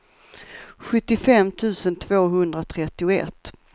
sjuttiofem tusen tvåhundratrettioett